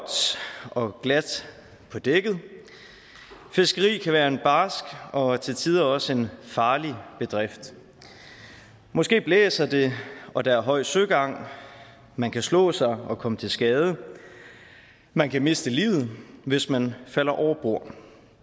og glat på dækket fiskeri kan være en barsk og til tider også en farlig bedrift måske blæser det og der er høj søgang man kan slå sig og komme til skade man kan miste livet hvis man falder over bord